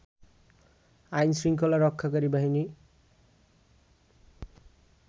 আইন-শৃঙ্খলা রক্ষাকারী বাহিনী